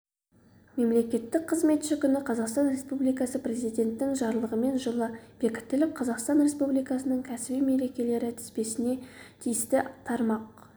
мемлекеттік қызметші күні қазақстан республикасы президентінің жарлығымен жылы бекітіліп қазақстан республикасының кәсіби мерекелері тізбесіне тиісті тармақ